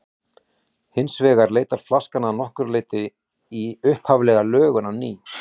Hins vegar leitar flaskan að nokkru leyti í upphaflega lögun á ný.